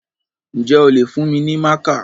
Ǹjẹ́ o lè fún mi ní mákà?